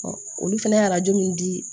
olu fana ye arajo min di